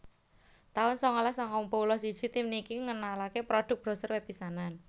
taun sangalas sangang puluh siji Tim niki ngenalaké produk browser web pisanan